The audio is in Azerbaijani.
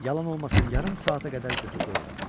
Yalan olmasın, yarım saata qədər götür-qoy elədi.